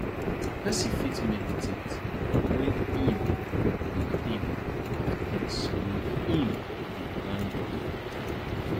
person fit mediate when im dey think of things wey im dey thank god for